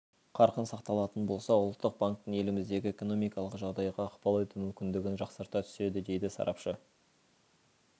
қарқын сақталатын болса ұлттық банктің еліміздегі экономикалық жағдайға ықпал ету мүмкіндігін жақсарта түседі дейді сарапшы